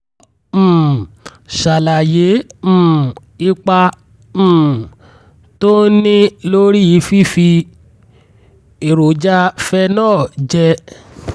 jọ̀wọ́ um ṣàlàyé um ipa um tó ń ní lórí fífi èròjà phenol jẹ